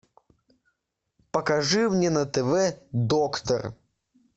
покажи мне на тв доктор